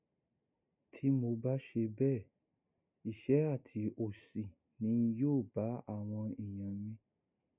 tí mo bá ṣe bẹẹ ìṣẹ àti òṣì ni yóò bá àwọn èèyàn mi